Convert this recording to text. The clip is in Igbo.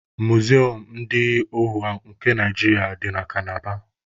Muzium ndị ohu nke Naijiria dị na Kalaba